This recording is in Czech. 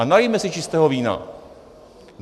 A nalijme si čistého vína.